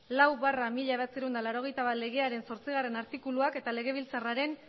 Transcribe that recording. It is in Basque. lau barra mila bederatziehun eta laurogeita bat legearen zortzigarren artikuluak eta legebiltzarraren